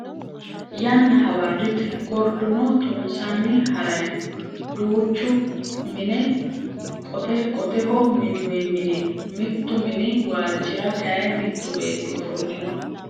Yanna hawarrite. Gorduno tunsanni harayi no. Duuchu mine qote qoteho minnoyi mini no. Mittu mini waalchira kayii mittu beetti ofollino.